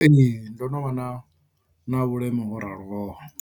Ee ndo no vha na na vhuleme ho raloho.